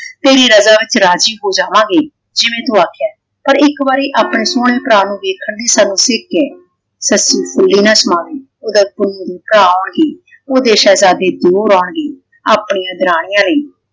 ਤੇਰੀ ਰਜਾ ਵਿੱਚ ਰਾਜੀ ਹੋ ਜਾਵਾਂਗੇ ਜਿਵੇਂ ਤੂੰ ਆਖਿਆ ਪਰ ਇਕ ਵਾਰੀ ਆਪਣੇ ਸੋਹਣੇ ਭਰਾ ਨੂੰ ਵੇਖਣ ਲਈ ਸਾਨੂੰ ਫਿੱਕ ਹੈ। ਸੱਸੀ ਫੁੱਲੇ ਨਾ ਸਮਾਵੀ ਓਹਦੇ ਪੁੰਨੂੰ ਨੂੰ ਭਰਾ ਆਉਂਣਗੇ ਓਹਦੇ ਸ਼ਹਿਜ਼ਾਦੇ ਦਿਓਰ ਆਉਂਣਗੇ ਆਪਣੀ ਦਰਾਣੀਆਂ ਲਈ